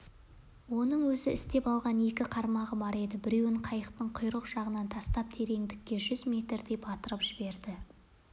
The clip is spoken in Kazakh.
оның өзі істеп алған екі қармағы бар еді біреуін қайықтың құйрық жағынан тастап тереңдікке жүз метрдей батырып жіберді